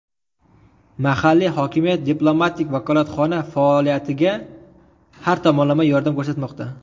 Mahalliy hokimiyat diplomatik vakolatxona faoliyatiga har tomonlama yordam ko‘rsatmoqda.